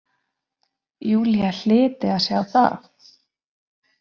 Júlía hlyti að sjá það.